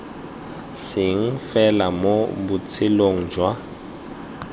seng fela mo botshelong jwa